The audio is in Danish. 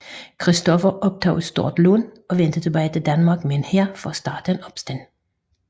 Christoffer optog et stort lån og vendte tilbage til Danmark med en hær for at starte en opstand